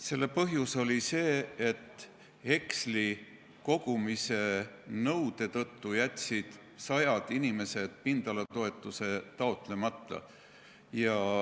Selle põhjus oli see, et heksli kogumise nõude tõttu jätsid sajad inimesed pindalatoetuse taotlemata.